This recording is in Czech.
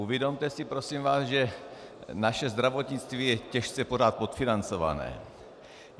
Uvědomte si prosím vás, že naše zdravotnictví je těžce pořád podfinancované.